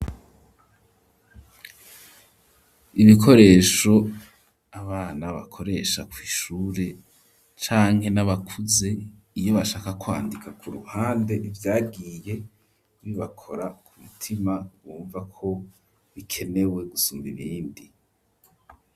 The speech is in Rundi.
Ibikoresho abana bakoresha kw'ishure, canke n'abakuze iyo bashaka kwandika ku ruhande, ivyagiye bibakora ku mutima, bumva ko bikenewe gusumba ibindi.